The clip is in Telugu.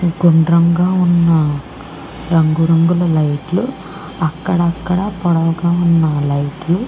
గుండ్రంగా ఉన్న రంగు రంగుల లైట్ లు అక్కడక్కడ పొడవుగా ఉన్న లైట్ లు--